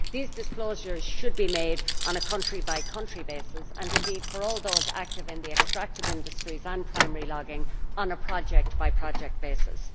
These disclosures should be made on a country by country basis and, for all those active in the extractive industries and primary logging, on a project by project basis.